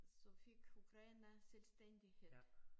Så fik Ukraine selvstændighed